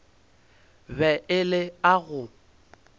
be e le a go